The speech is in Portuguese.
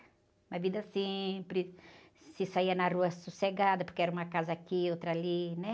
Uma vida simples, se saía na rua sossegada, porque era uma casa aqui, outra ali, né?